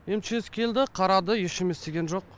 мчс келді қарады ештеңе істеген жоқ